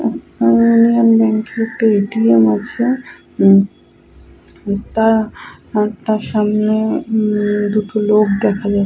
Union bank এর একটা A. T .M. আছে উম তা তার সামনে উম দুটো লোক দেখা যাচ --